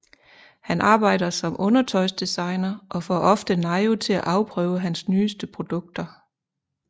Han arbejder som undertøjsdesigner og får ofte Nayu til at afprøve hans nyeste produkter